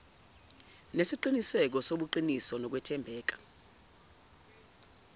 nesiqiniseko sobuqiniso nokwethembeka